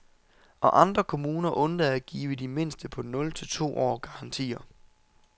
Og andre kommuner undlader at give de mindste på nul til to år garantier.